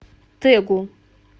тэгу